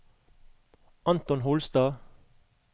Anton Holstad